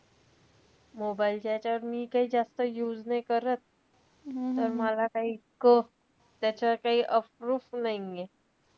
Mobile च्या ह्याच्यावर मी काई जास्त use नाई करत. त मला काई इतकं त्याचं काई अप्रूप नाहीये.